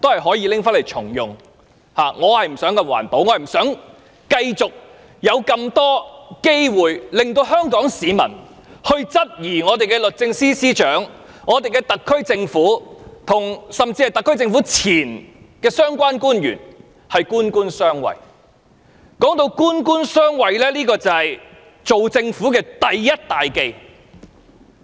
我不是為了環保，而是不想香港市民仍有機會質疑律政司司長、特區政府，甚至特區政府的前官員官官相衞。官官相衞是政府的第一大忌。